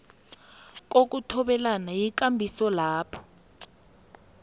kokuthobelana yikambiso lapho